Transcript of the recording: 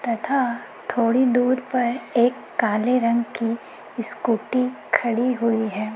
तथा थोड़ी दूर पर एक काले रंग की स्कूटी खड़ी हुई है।